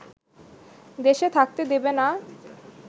দেশে থাকতে দেবে না